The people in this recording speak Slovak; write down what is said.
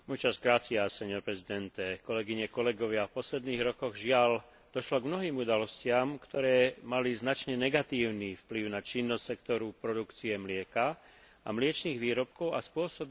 V posledných rokoch, žiaľ, došlo k mnohým udalostiam, ktoré mali značne negatívny vplyv na činnosť sektoru produkcie mlieka a mliečnych výrobkov a spôsobili zároveň nestálosť cien.